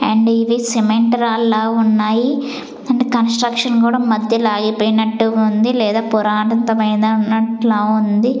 And ఇది cement రాల్లా ఉన్నాయి అండ్ కన్స్ట్రక్షన్ కూడా మధ్యల ఆగిపోయినట్టుగా ఉంది లేదా పురాతనమైనట్లా ఉంది.